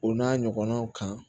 O n'a ɲɔgɔnnaw kan